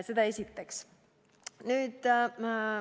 Seda esiteks.